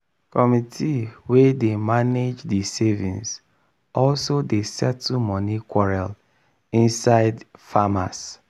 committee wey dey mange di savings also dey settle moni quarrel inside di farmers.